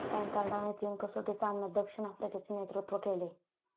टँकार्डने तीन कसोटी सामन्यात दक्षिण आफ्रिकेचे नेतृत्व केले.